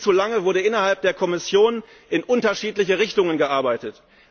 Viel zu lange wurde innerhalb der Kommission in unterschiedliche Richtungen gearbeitet.